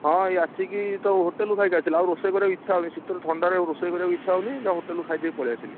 ହଁ, ଏଇ ଆସିକି ତ hotel ରୁ ଖାଇକି ଆଇଥିଲି ଆଉ ରୋଷେଇ କରିବାକୁ ଇଚ୍ଛା ହଉନି ସିତରେ ଥଣ୍ଡାରେ ଆଉ ରୋଷେଇ କରିବାକୁ ଇଛା ହଉନି ଜା hotel ରୁ ଖାଇଦେଇ ପଳେଇଆସିଲି।